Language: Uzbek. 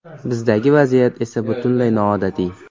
Bizdagi vaziyat esa butunlay noodatiy.